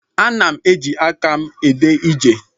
Ana m eji aka m ede ije.